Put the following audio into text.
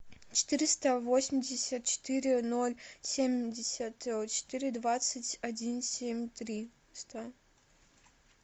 четыреста восемьдесят четыре ноль семьдесят четыре двадцать один семь триста